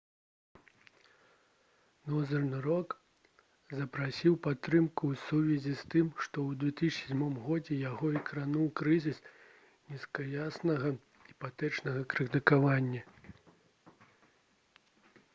«нозэрн рок» запрасіў падтрымку ў сувязі з тым што ў 2007 г. яго закрануў крызіс нізкаякаснага іпатэчнага крэдытавання